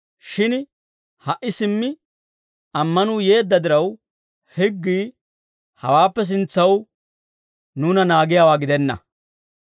Shin ha"i simmi ammanuu yeedda diraw, higgii hawaappe sintsaw nuuna naagiyaawaa gidenna.